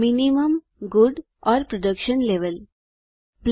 minimum good और production levels न्यूमत्तम अच्छा और उत्पादन स्तर